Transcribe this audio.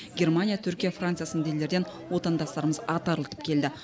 германия түркия франция сынды елдерден отандастарымыз ат арылтып келді